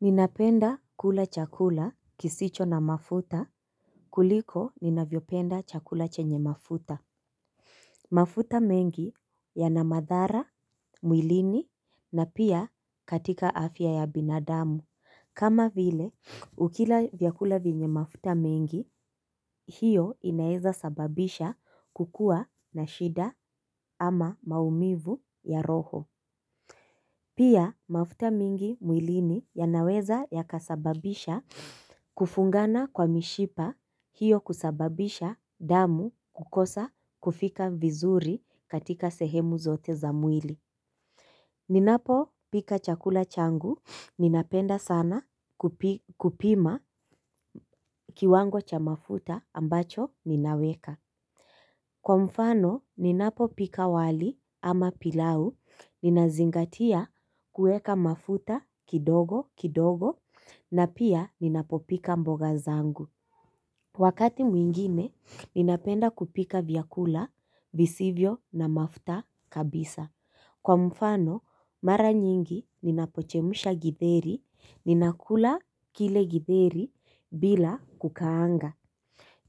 Ninapenda kula chakula kisicho na mafuta kuliko ninavyopenda chakula chenye mafuta. Mafuta mengi yana madhara mwilini na pia katika afya ya binadamu kama vile ukila vyakula vyenye mafuta mengi hiyo inaweza sababisha kukua na shida ama maumivu ya roho. Pia mafuta mingi mwilini yanaweza yakasababisha kufungana kwa mishipa hiyo kusababisha damu kukosa kufika vizuri katika sehemu zote za mwili. Ninapo pika chakula changu ninapenda sana kupima kiwango cha mafuta ambacho ninaweka. Kwa mfano, ninapopika wali ama pilau, ninazingatia kueka mafuta kidogo kidogo na pia ninapopika mboga zangu. Wakati mwingine, ninapenda kupika vyakula visivyo na mafuta kabisa. Kwa mfano, mara nyingi ninapochemusha githeri, ninakula kile githeri bila kukaanga.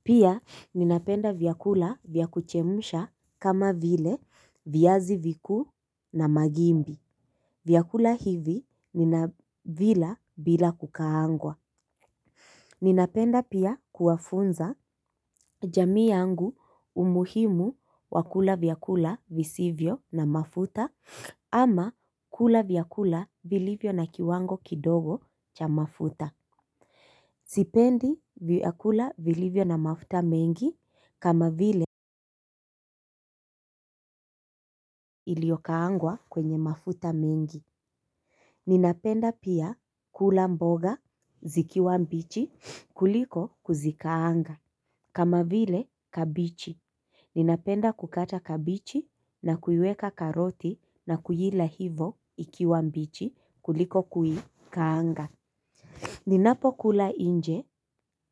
Pia ninapenda vyakula vya kuchemsha kama vile viazi vikuu na magimbi. Vyakula hivi ninavila bila kukaangwa. Ninapenda pia kuwafunza jamii yangu umuhimu wa kula vyakula visivyo na mafuta ama kula vyakula vilivyo na kiwango kidogo cha mafuta. Sipendi vyakula vilivyo na mafuta mengi kama vile iliyokaangwa kwenye mafuta mengi. Ninapenda pia kula mboga zikiwa mbichi kuliko kuzikaanga. Kama vile kabichi. Ninapenda kukata kabichi na kuiweka karoti na kuila hivo ikiwa mbichi kuliko kuikaanga. Ninapo kula nje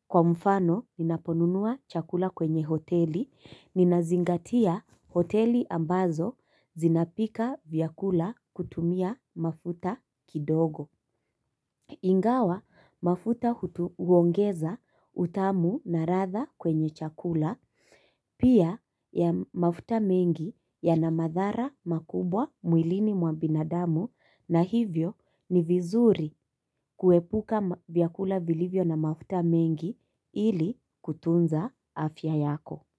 kwa mfano ninaponunua chakula kwenye hoteli, ninazingatia hoteli ambazo zinapika vyakula kutumia mafuta kidogo. Ingawa mafuta hutu huongeza utamu na ladha kwenye chakula pia ya mafuta mengi ya na madhara makubwa mwilini mwa binadamu na hivyo ni vizuri kuepuka vyakula vilivyo na mafuta mengi ili kutunza afya yako.